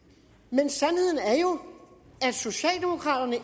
men sandheden er jo at socialdemokraterne